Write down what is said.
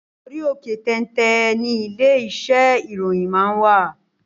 Orí òkè téńté ńi ilé iṣẹ́ ìròyìn máa wà.